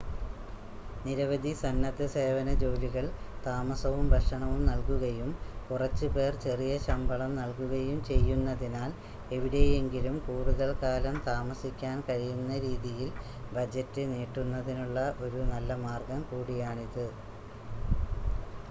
നിരവധി സന്നദ്ധസേവന ജോലികൾ താമസവും ഭക്ഷണവും നൽകുകയും കുറച്ച് പേർ ചെറിയ ശമ്പളം നൽകുകയും ചെയ്യുന്നതിനാൽ എവിടെയെങ്കിലും കൂടുതൽ കാലം താമസിക്കാൻ കഴിയുന്ന രീതിയിൽ ബജറ്റ് നീട്ടുന്നതിനുള്ള ഒരു നല്ല മാർഗ്ഗം കൂടിയാണിത്